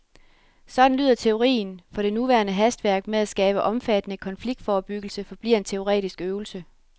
Sådan lyder teorien, for det nuværende hastværk med at skabe omfattende konfliktforebyggelse forbliver en teoretisk øvelse.